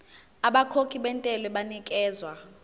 abakhokhi bentela banikezwa